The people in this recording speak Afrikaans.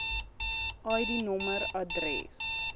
id nommer adres